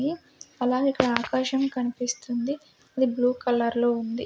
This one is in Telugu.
ఇ అలాగే ఇక్కడ ఆకాశం కనిపిస్తుంది అది బ్లూ కలర్లో ఉంది.